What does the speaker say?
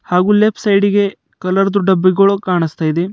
ಹಾಗು ಲೆಫ್ಟ್ ಸೈಡಿಗೆ ಕಾಲರ್ದು ಡಬ್ಬಿ ಕಾಣಿಸ್ತಾ ಇದೆ.